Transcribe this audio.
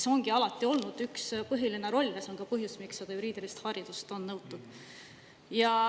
See ongi alati olnud üks põhiline roll ja see on ka põhjus, miks seda juriidilist haridust on nõutud.